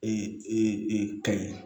E i ka ye